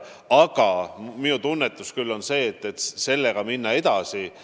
Aga mul on tunne, et sellega tuleb minna edasi.